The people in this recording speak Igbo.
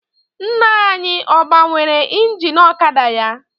Nna anyị ọ gbanwere ingin ọkada ya?